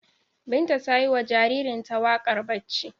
Binta ta yi wa jaririnta wakar barci.